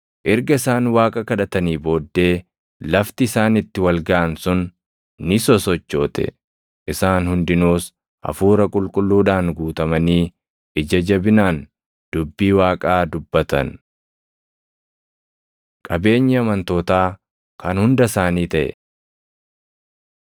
Erga isaan Waaqa kadhatanii booddee lafti isaan itti wal gaʼan sun ni sosochoote; isaan hundinuus hafuura qulqulluudhaan guutamanii ija jabinaan dubbii Waaqaa dubbatan. Qabeenyi Amantootaa Kan Hunda Isaanii Taʼe